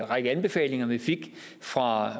række anbefalinger vi fik fra